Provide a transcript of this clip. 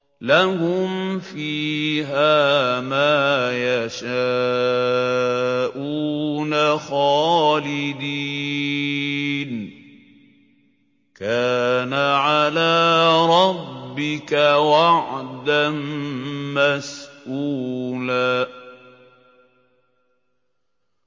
لَّهُمْ فِيهَا مَا يَشَاءُونَ خَالِدِينَ ۚ كَانَ عَلَىٰ رَبِّكَ وَعْدًا مَّسْئُولًا